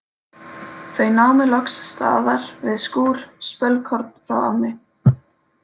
Þau námu loks staðar við skúr spölkorn frá ánni.